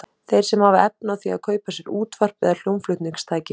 Þeir sem hafa efni á því að kaupa sér útvarp eða hljómflutningstæki.